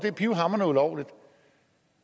er pivhamrende ulovligt